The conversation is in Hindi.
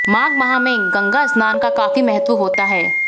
माघ माह में गंगा स्नान का काफी महत्व होता है